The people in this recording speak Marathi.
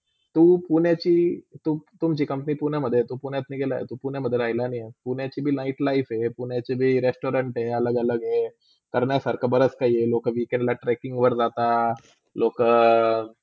तु पुण्याची, तु तुमची company पुण्यामधे आहे, तू पुण्यातणी गेतला आहे, पुण्यामधे राहिला नाही, पुण्याची पण light life हय, पुण्याचीभी restaurant अलग -अलग हे करना सारखा बराच काय हे लोका weekend tracking वर जातात लोका